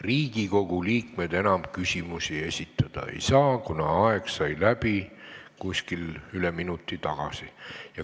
Riigikogu liikmed enam küsimusi esitada ei saa, kuna aeg sai läbi üle minuti tagasi.